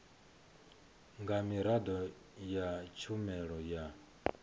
nga miraḓo ya tshumelo ya